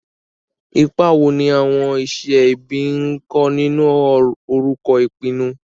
Ipa wo ni àwọn iṣẹ́ ẹbí ń kó nínú orúkọ ìpinnu?